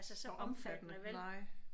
Så omfattende nej